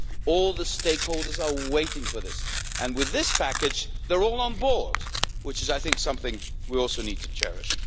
All the stakeholders are waiting for this and, with this package, they are all on board, which is something we also need to cherish.